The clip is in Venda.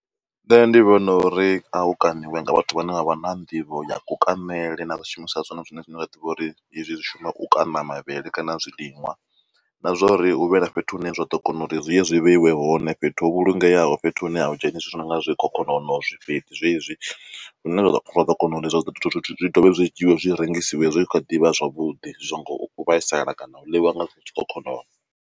Nṋe ndi vhona uri a u kaniwe nga vhathu vha ne vha vha na nḓivho ya ku kanele na zwishumiswa zwone zwine zwine zwa ḓivhiwa uri hezwi zwi shuma u kana mavhele kana zwiliṅwa na zwa uri hu vhe na fhethu hune zwa ḓo kona uri zwi ye zwi vheiwe hone. Fhethu ho vhulungeaho, fhethu hune a hu dzheniswi nga zwikhokhonono, zwifheti zwezwi. Zwine zwa ḓo kona uri ezwo zwithu zwi dovhe zwi dzhiiwe zwi rengisiwe zwi tshi kha ḓivha zwavhuḓi zwi so ngo vhaisala kana u ḽiwa nga zwikhokhonono